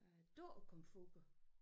Øh dukkekomfurer